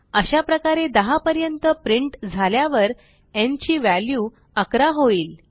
अशाप्रकारे 10 पर्यंत प्रिंट झाल्यावर न् ची व्हॅल्यू 11 होईल